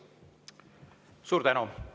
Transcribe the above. Suur tänu!